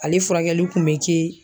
Ale furakɛli kun bɛ kɛ